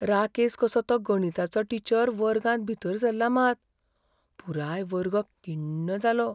राकेस कसो तो गणिताचो टीचर वर्गांत भीतर सरला मात, पुराय वर्ग किण्ण जालो.